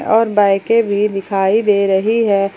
और बाईकें भी दिखाई दे रही है।